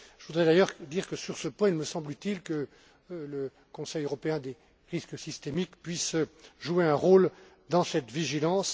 Je voudrais d'ailleurs dire que, sur ce point, il me semble utile que le Comité européen du risque systémique puisse jouer un rôle dans cette vigilance.